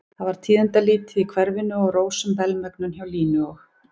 Það var tíðindalítið í hverfinu og rósöm velmegun hjá Línu og